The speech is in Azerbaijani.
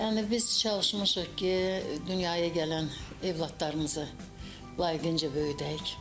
Yəni biz çalışmışıq ki, dünyaya gələn övladlarımızı layiğincə böyüdək.